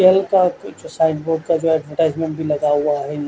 कल का पीछे का ऐडवरटाईसमेंट भी लगा हुआ है।